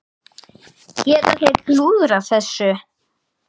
Geta þeir klúðrað þessu?